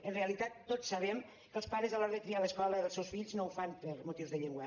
en realitat tots sabem que els pares a l’hora de triar l’escola dels seus fills no ho fan per motius de llengua